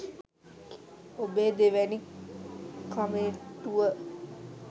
ඔබේ දෙවැනි කමෙන්ටුව